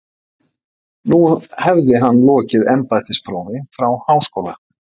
Nú hefði hann lokið embættisprófi frá Háskóla